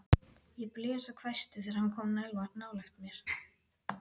Ég blés og hvæsti þegar hann kom nálægt mér.